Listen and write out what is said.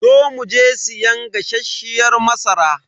Zo mu je siyan gasasshiyar masara.